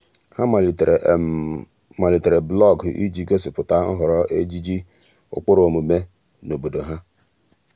há màlị́tèrè màlị́tèrè blọọgụ iji gósípụ̀tá nhọrọ ejiji ụ́kpụ́rụ́ ọ́mụ́mé na obodo há.